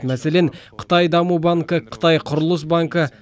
мәселен қытай даму банкі қытай құрылыс банкі